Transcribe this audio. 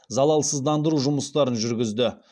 залалсыздандыру жұмыстарын жүргізді